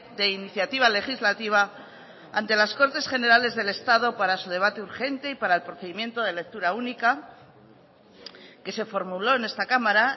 de iniciativa legislativa ante las cortes generales del estado para su debate urgente y para el procedimiento de lectura única que se formuló en esta cámara